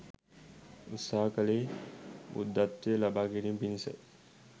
උත්සහ කළේ බුද්ධත්වය ලබා ගැනීම පිණිසයි.